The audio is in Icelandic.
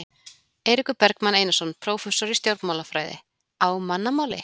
Eiríkur Bergmann Einarsson, prófessor í stjórnmálafræði: Á mannamáli?